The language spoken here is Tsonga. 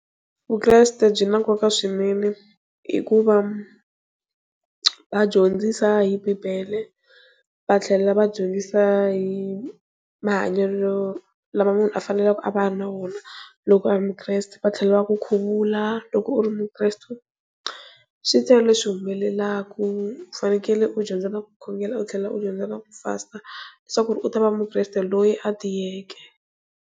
Vukreste byi na nkoka swinene hikuva va dyondzisa hi bibele va tlhela va dyondzisa hi mahanyelo lama munhu a faneleke a va na wona loko a ri mukreste va tlhela va ku khuvula loko u ri mukreste swi tele leswi humelelaka u fanele u dyondza na ku khongela u tlhela u dyondza na ku fasta leswaku u ta va mukreste loyi a tiyeke.